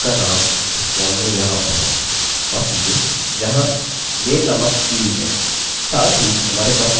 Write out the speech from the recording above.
और उसका नाम इस फॉर्म में यहाँ पर है माफ़ कीजिये यहाँ name नामक फील्डfield में